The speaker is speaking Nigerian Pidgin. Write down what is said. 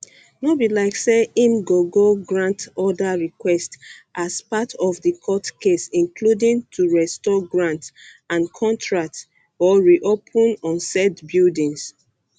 no be like say im go go grant oda requests as part of di court case including to restore grants and contracts or reopen usaid buildings